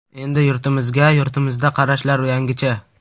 Endi yurtimizga – yurtimizda, qarashlar yangicha.